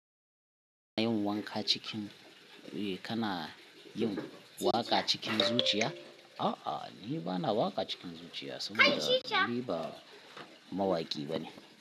Ana yin wanka cikin, eh kana yin waƙa cikin zuciya? A'a, ni bana waƙa cikin zuciya saboda ni ba mawaƙi bane.